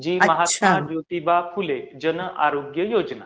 जी आहे महात्मा ज्योतिबा फुले जन आरोग्य योजना.